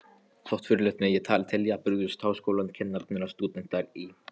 Þótt furðulegt megi telja, brugðust háskólakennarar og stúdentar í